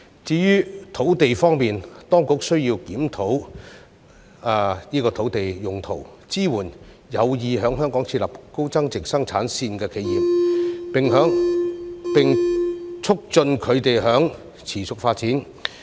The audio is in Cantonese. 至於土地方面，當局需要檢討土地用途，支援有意在香港設立高增值生產線的企業，並促進它們的持續發展。